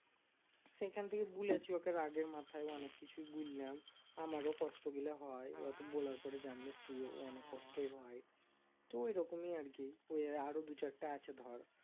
সেখান থেকে বলেছি, ওকে রাগের মাথায় অনেক কিছুই বললাম আমারও কষ্টগুলা হয় অত বলার পরে জানিস তুইও অনেক কষ্টই হয় তো ওই রকমই আর কি এ আরও দু'চারটা আছে ধর